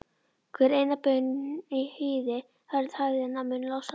Hver ein baun í hýði hörð hægðirnar mun losa.